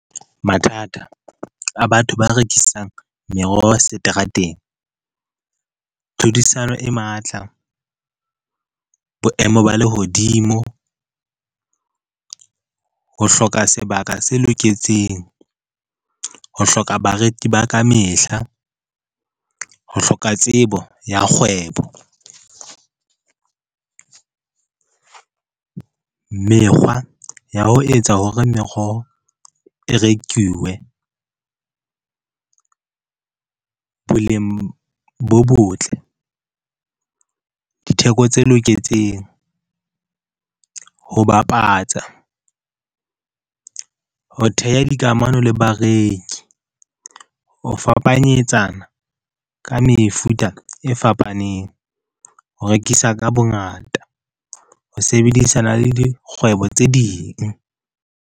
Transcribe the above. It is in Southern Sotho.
Mathata a batho ba rekisang meroho seterateng, tlhodisano e matla, boemo ba lehodimo, ho hloka sebaka se loketseng, ho hloka bareki ba ka mehla, ho hloka tsebo ya kgwebo, mekgwa ya ho etsa hore meroho e rekiwe, boleng bo botle, ditheko tse loketseng, ho bapatsa, ho theha dikamano le bareki, ho fapanyetsana ka mefuta e fapaneng, ho rekisa ka bongata, ho sebedisana le dikgwebo tse ding.